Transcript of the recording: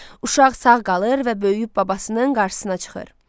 Uşaq sağ qalır və böyüyüb babasının qarşısına çıxır.